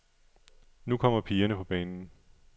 Nu kommer pigerne på banen.